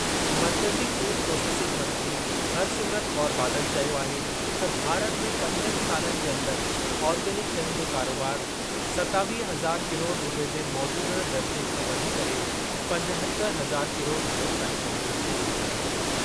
मर्कज़ी food processing मंत्री हरसिमरत कौर बादल चयो आहे त भारत में पंजनि सालनि जे अंदरि ऑर्गेनिक शयुनि जो कारोबार सतावीह हज़ार किरोड़ रूपए जे मौजूदह दर्जे खां वधी करे पंजहतर हज़ार किरोड़ रूपयनि ताईं पहुचणु जी उमीद आहे।